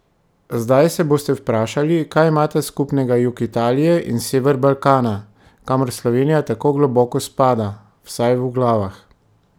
Zdaj se boste vprašali, kaj imata skupnega jug Italije in sever Balkana, kamor Slovenija tako globoko spada, vsaj v glavah?